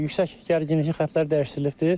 Yüksək gərginlikli xətlər dəyişdirilibdir.